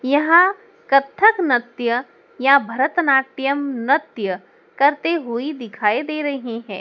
यहां कथक नृत्य या भरतनाट्यम नृत्य करते हुए दिखाई दे रहें हैं।